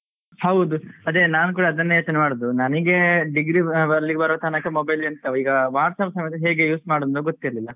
ಹೌದು ಅದೇ ನಾನು ಕೂಡ ಅದನ್ನೇ ಯೋಚನೆ ಮಾಡುವುದು ನನ್ಗೆ degree ಅಲ್ಲಿ ಬರುವ ತನಕ ಎಂತ mobile ಈಗ WhatsApp ಸಮೇತ ಹೇಗೆ use ಮಾಡುವುದು ಅಂತ ಗೊತ್ತಿರ್ಲಿಲ್ಲ.